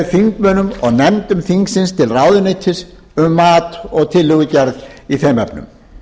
þingmönnum og nefndum þingsins til ráðuneytis um mat og tillögugerð í þeim efnum